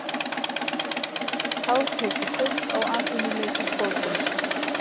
Hátekjufólk á atvinnuleysisbótum